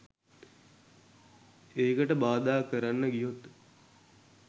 ඒකට බාධා කරන්න ගියොත්